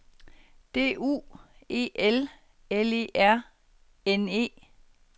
D U E L L E R N E